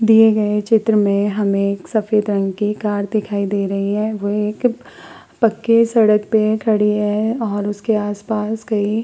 दिए गए चित्र में हमें एक सफेद रंग की कार दिखाई दे रही है वह एक पक्के सड़क पे खड़ी है और उसके आस-पास कहीं --